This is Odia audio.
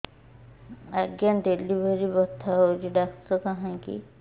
ଆଜ୍ଞା ଡେଲିଭରି ବଥା ହଉଚି ଡାକ୍ତର କାହିଁ କି